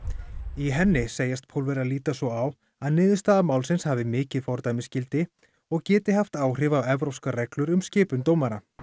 í henni segjast Pólverjar líta svo á að niðurstaða málsins hafi mikið fordæmisgildi og geti haft áhrif á evrópskar reglur um skipun dómara